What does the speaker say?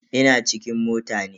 Ina cikin mota ne.